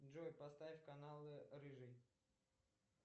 джой поставь канал рыжий